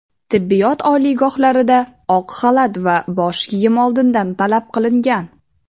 tibbiyot oliygohlarida oq xalat va bosh kiyim oldindan talab qilingan.